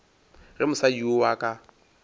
ge mosadi yoo a ka